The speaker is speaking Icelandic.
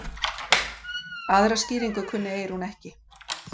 Aðra skýringu kunni Eyrún ekki.